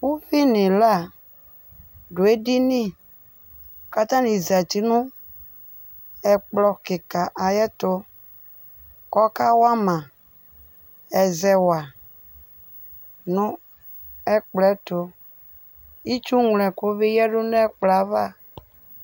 Uvi n' ɩla dʋ edini katanɩ zati nʋ ɛkplɔ kɩka ayɛtʋKɔka wa ma ɛzɛwa nʋ ɛkplɔ ɛtʋ, itsu ŋlo ɛkʋ bɩ yǝdu n' ɛkplɔ ava